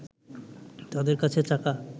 তাদের কাছে থাকা